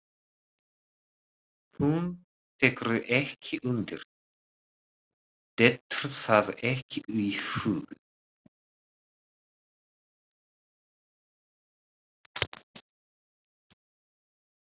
Hún tekur ekki undir, dettur það ekki í hug.